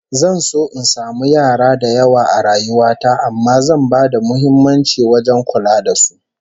Zan so in samu yara da yawa a rayuwa ta amma zan bada muhimmanci wajen kula da su